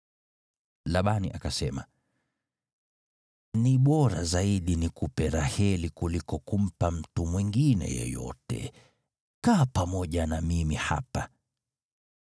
Labani akasema, “Ni bora zaidi nikupe Raheli kuliko kumpa mtu mwingine yeyote. Kaa pamoja na mimi hapa.”